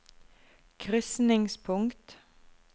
krysningspunkt